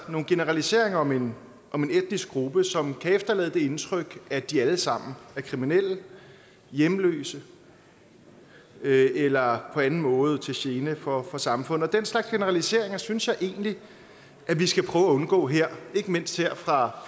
nogle generaliseringer om en etnisk gruppe som kan efterlade det indtryk at de alle sammen er kriminelle hjemløse eller på anden måde til gene for for samfundet og den slags generaliseringer synes jeg egentlig vi skal prøve at undgå her ikke mindst her fra